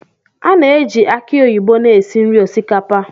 A na-eji aki oyibo na-esi nri osikapa.